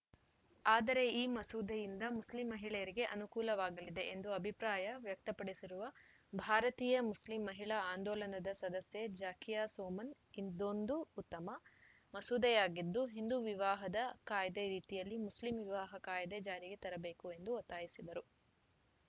ಆದರೆ ಈ ಮಸೂದೆಯಿಂದ ಮುಸ್ಲಿಂ ಮಹಿಳೆಯರಿಗೆ ಅನುಕೂಲವಾಗಲಿದೆ ಎಂದು ಅಭಿಪ್ರಾಯ ವ್ಯಕ್ತಪಡಿಸಿರುವ ಭಾರತೀಯ ಮುಸ್ಲಿಂ ಮಹಿಳಾ ಆಂದೋಲನದ ಸದಸ್ಯೆ ಜಾಕಿಯಾ ಸೊಮನ್‌ ಇದೊಂದು ಉತ್ತಮ ಮಸೂದೆಯಾಗಿದ್ದು ಹಿಂದೂ ವಿವಾಹದ ಕಾಯ್ದೆ ರೀತಿಯಲ್ಲೇ ಮುಸ್ಲಿಂ ವಿವಾಹ ಕಾಯ್ದೆ ಜಾರಿಗೆ ತರಬೇಕು ಎಂದು ಒತ್ತಾಯಿಸಿದರು